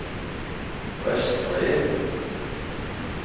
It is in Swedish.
röstbrev